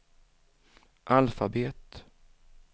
alfabet